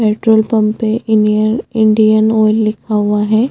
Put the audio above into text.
Petrol pump पे Indian Indian Oil लिखा हुआ है।